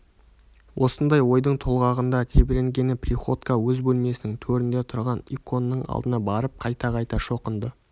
осындай ойдың толғағында тебіренген приходько өз бөлмесінің төрінде тұрған иконның алдына барып қайта-қайта шоқынды